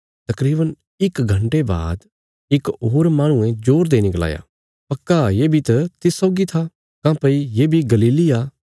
तकरीवन इक घण्टे बाद इक होर माहणुये जोर देईने गलाया पक्का ये बी त तिस सौगी था काँह्भई ये बी गलीली आ